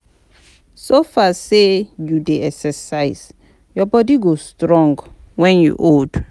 So far say you dey exercise, your body go strong wen you old